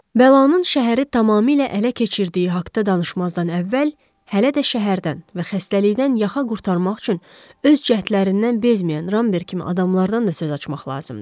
Bəlanın şəhəri tamamilə ələ keçirdiyi haqda danışmazdan əvvəl, hələ də şəhərdən və xəstəlikdən yaxa qurtarmaq üçün öz cəhdlərindən bezməyən Ramberg kimi adamlardan da söz açmaq lazımdır.